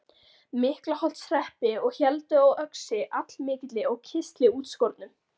Miklaholtshreppi og héldu á öxi allmikilli og kistli útskornum.